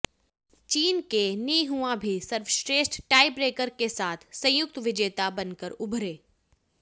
चीन के Ni Hua भी सर्वश्रेष्ठ टाईब्रेकर के साथ संयुक्त विजेता बनकर उभरे